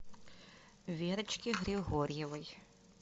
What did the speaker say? верочке григорьевой